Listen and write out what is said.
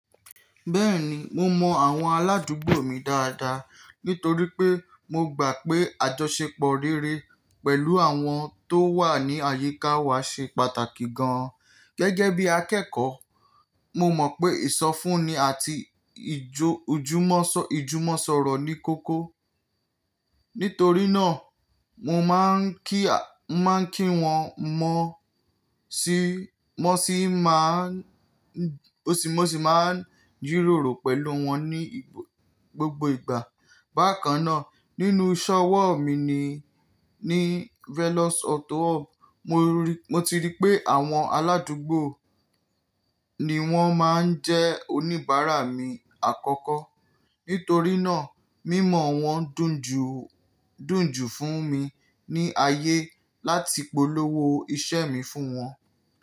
Bẹ́ẹ̀ni, mo mọ àwọn aládùúgbò mi dáadáa nítorí pé mo gbà pé àjọṣepọ̀ rere pẹ̀lú àwọn tó wà ní àyíká wa ṣe pàtàkì gan. Gẹ́gẹ́ bí akẹ́kọ̀ọ́, mo mọ̀ pé ìsọfúnni àti ìjú ijo ijumọ̀sọ̀rọ̀ ní kókó. Nítorí náà, mo máa ń kí wọn mọ̀ sí máa ń, ó sì máa ń jíroòrò pẹ̀lú wọn ní gbogbo ìgbà. Bákan náà, nínú ise ọwọ́ mi ni, ní Velos Auto Hub, mo ti rí pé àwọn aládùúgbò ni wọ́n máa ń jẹ́ oníbàárà mi àkọ́kọ́. Nítorí náà, mímọ̀ wọ́n dùn jù, dùn jù fún mi ní ayé láti polówó iṣẹ́ mi fún wọn.